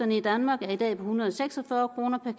i danmark er i dag på en hundrede og seks og fyrre kroner per